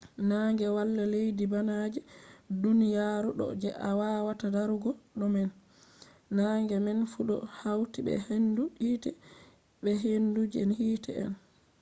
nange wala leddi bana je duniyaru do je a wawata darugo do man. nange maan fu do hauti be hendu hite be hendu je hite on